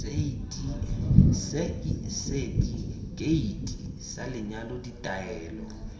seti keiti sa lenyalo ditaelo